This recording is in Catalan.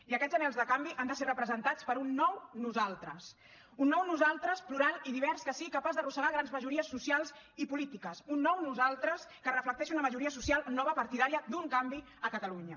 i aquests anhels de canvi han de ser representats per un nou nosaltres un nou nosaltres plural i divers que sigui capaç d’arrossegar grans majories socials i polítiques un nou nosaltres que reflecteixi una majoria social nova partidària d’un canvi a catalunya